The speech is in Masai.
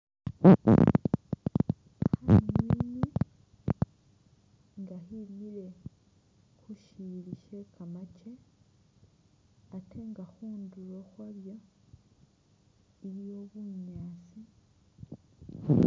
Khanywinywi nga khemiile khusili she kamaake ate nga khunduulo khwalyo iliwo bunyaasi .